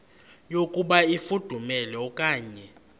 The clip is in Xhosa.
yokuba ifudumele okanye